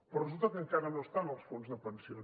però resulta que encara no està en els fons de pensions